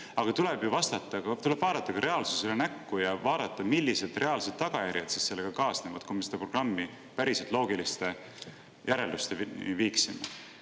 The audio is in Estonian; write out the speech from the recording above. Aga tuleb ju vaadata ka reaalsusele näkku ja vaadata, millised reaalsed tagajärjed sellega kaasnevad, kui me selle programmi päriselt loogiliste järeldusteni viiksime.